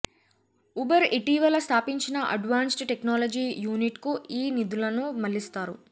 Uber ఇటీవల స్థాపించిన advanced technology యూనిట్కు ఈ నిధులను మళ్లిస్తారు